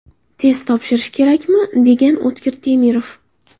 Test topshirish kerakmi?, degan O‘tkir Temirov.